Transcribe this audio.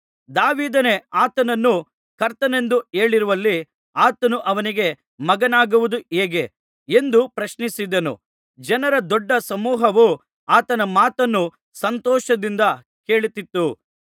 ದಾವೀದನೇ ಆತನನ್ನು ಕರ್ತನೆಂದು ಹೇಳಿರುವಲ್ಲಿ ಆತನು ಅವನಿಗೆ ಮಗನಾಗುವುದು ಹೇಗೆ ಎಂದು ಪ್ರಶ್ನಿಸಿದನು ಜನರ ದೊಡ್ಡ ಸಮೂಹವು ಆತನ ಮಾತನ್ನು ಸಂತೋಷದಿಂದ ಕೇಳುತ್ತಿತ್ತು